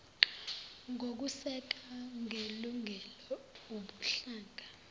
ngokuseka ngelungelo ubuhlanga